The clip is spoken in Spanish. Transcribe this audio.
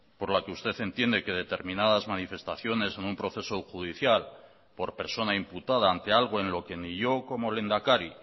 por la que usted entiende que determinadas manifestaciones en un proceso judicial por persona imputada ante algo en lo que ni yo como lehendakari